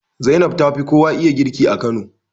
Zainab tafi kowa iya girki a Kano